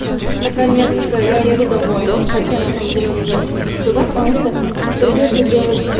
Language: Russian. наконец-то я еду домой хотя на самом деле я не очень хочу туда потому что придётся делать